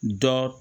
Dɔ